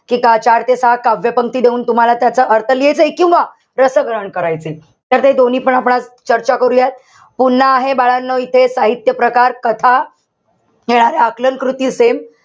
कि चार ते सहा काव्यपंक्ती देऊन तुम्हाला त्याचा अर्थ लिहियाचाय. किंवा रसग्रहण करायचंय. तर ते दोन्हीपण आपण आज चर्चा करूयात. पुन्हा आहे बाळांनो इथे साहित्य प्रकार, कथा हे आकलनकृती same.